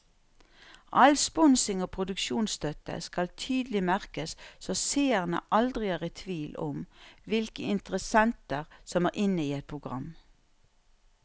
All sponsing og produksjonsstøtte skal tydelig merkes så seerne aldri er i tvil om hvilke interessenter som er inne i et program.